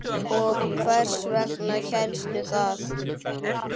Og hvers vegna hélstu það?